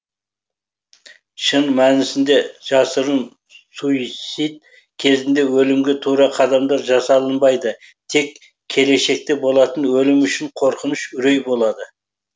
шын мәнісінде жасырын суицид кезінде өлімге тура қадамдар жасалынбайды тек келешекте болатын өлім үшін қорқыныш үрей болады